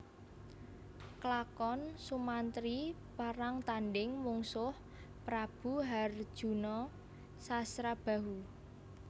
Klakon Sumantri perang tandhing mungsuh Prabu harjuna Sasrabahu